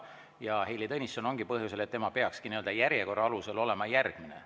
Ja Heili Tõnisson ongi siin sel põhjusel, et tema peaks järjekorra alusel olema järgmine.